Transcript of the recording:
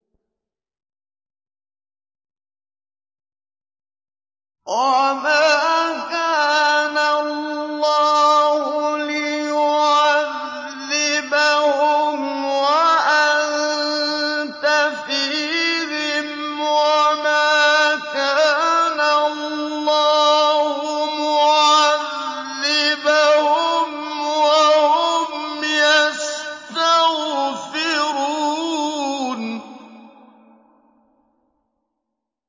وَمَا كَانَ اللَّهُ لِيُعَذِّبَهُمْ وَأَنتَ فِيهِمْ ۚ وَمَا كَانَ اللَّهُ مُعَذِّبَهُمْ وَهُمْ يَسْتَغْفِرُونَ